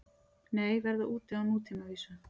Nei, verða úti á nútímavísu